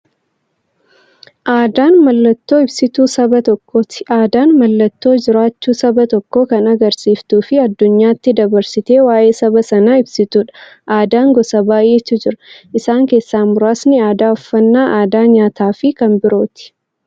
Aadaan mallattoo ibsituu saba tokkooti. Aadaan mallattoo jiraachuu saba tokkoo kan agarsiistufi addunyyaatti dabarsitee waa'ee saba sanaa ibsituudha. Aadaan gosa baay'eetu jira. Isaan keessaa muraasni aadaa, uffannaa aadaa nyaataafi kan biroo.